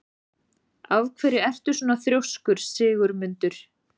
Af hverju ertu svona þrjóskur, Sigurmundur?